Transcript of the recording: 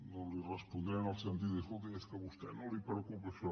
no li respondré en el sentit de dir escolti és que a vostè no el preocupa això